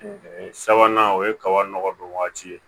Sabanan o ye kaba nɔgɔ don waati ye